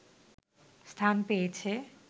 স্থান পেয়েছে